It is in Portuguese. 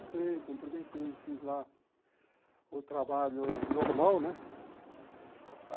Entrei, cumprimentei, fiz lá o trabalho normal, né?